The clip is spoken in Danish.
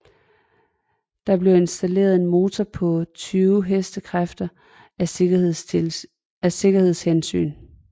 Der blev installeret en motor på 20 hk af sikkerhedshensyn